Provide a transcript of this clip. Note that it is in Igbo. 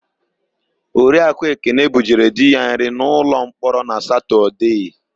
Oriakụ Ekene bujere di ya nri n'ụlọmkpọrọ na Satọdee.